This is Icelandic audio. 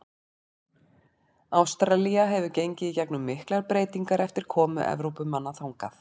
Ástralía hefur gengið í gegnum miklar breytingar eftir komu Evrópumanna þangað.